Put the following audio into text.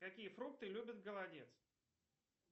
какие фрукты любит голодец